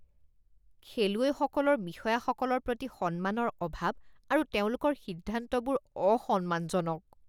খেলুৱৈসকলৰ বিষয়াসকলৰ প্ৰতি সন্মানৰ অভাৱ আৰু তেওঁলোকৰ সিদ্ধান্তবোৰ অসন্মানজনক